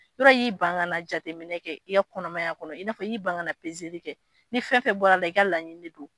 Yɔrɔ y'i ban jateminɛ kɛ i kɔnɔmaya kɔnɔ i n'a fɔ y'i ban kaana pezeli kɛ ni fɛn fɛn bɔra la i ka laɲini don